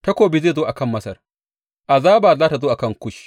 Takobi zai zo a kan Masar, azaba za tă zo a kan Kush.